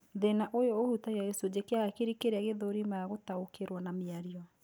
Thĩna ũyũ ũhutagia gĩcunjĩ kia hakiri kĩrĩa gĩthũrimaga gũtaũkĩrwo na mĩario